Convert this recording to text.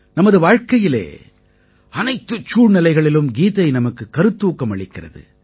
நமது வாழ்க்கையிலே அனைத்துச் சூழ்நிலைகளிலும் கீதை நமக்குக் கருத்தூக்கம் அளிக்கிறது